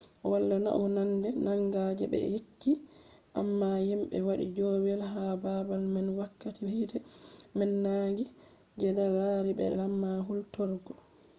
wala naunande manga je be yecci amma himɓe waɗi joowey ha babal man wakkati hite man nangi je be lari be alama hulturgo